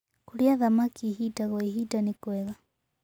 Kũrĩa thamakĩ ĩhĩda gwa ĩhĩda nĩkwega